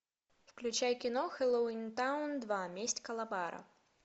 включай кино хэллоуинтаун два месть калабара